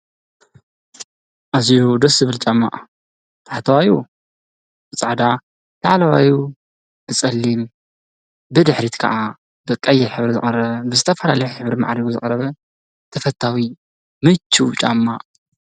ኣዝዩ ደስ ዝብል ጫማ ታሕተዋዩ ጻዕዳ ላዕለዋዩ ብፀሊም ብድሕሪት ከዓ ብቀይሕ ሕብሪ ዝቐረበ ዝተፈላልዩ ሕብሪ ሒዙ ዝቐረበ ተፈታዊ ምችዉ ጫማ ።